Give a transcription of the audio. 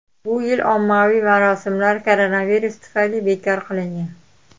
Bu yil ommaviy marosimlar koronavirus tufayli bekor qilingan.